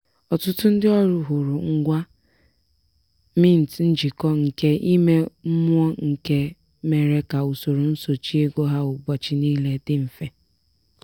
ọtụtụ ndị ọrụ hụrụ ngwa mint njikọ nke ime mmụọ nke mere ka usoro nsochị ego ha ụbọchị niile dị mfe.